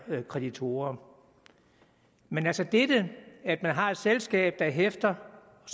kreditorer men altså dette at man har et selskab der hæfter og